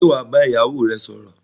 Sé wàá ba ìyá ìyáwò rẹ sòrò